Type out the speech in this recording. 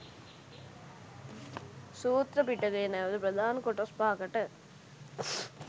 සූත්‍ර පිටකය නැවත ප්‍රධාන කොටස් 05කට